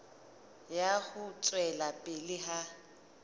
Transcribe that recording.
ya ho tswela pele ha